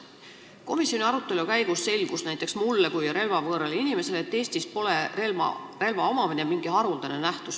Komisjoni arutelu käigus selgus näiteks mulle kui relvavõõrale inimesele, et Eestis pole relva omamine mingi haruldane nähtus.